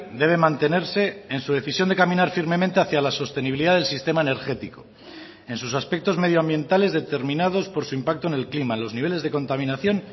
debe mantenerse en su decisión de caminar firmemente hacia la sostenibilidad del sistema energético en sus aspectos medioambientales determinados por su impacto en el clima en los niveles de contaminación